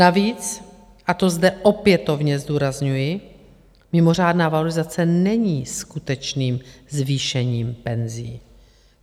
Navíc, a to zde opětovně zdůrazňuji, mimořádná valorizace není skutečným zvýšením penzí.